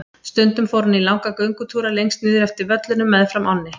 Stundum fór hann í langa göngutúra lengst niður eftir völlunum meðfram ánni.